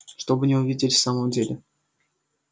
чтобы не увидели в самом деле